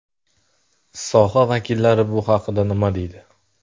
Soha vakillari bu haqda nima deydi?